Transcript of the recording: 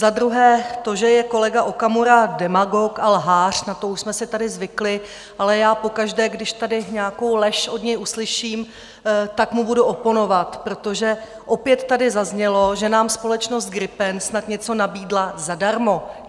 Za druhé, to, že je kolega Okamura demagog a lhář, na to už jsme si tady zvykli, ale já pokaždé, když tady nějakou lež od něj uslyším, tak mu budu oponovat, protože opět tady zaznělo, že nám společnost Gripen snad něco nabídla zadarmo.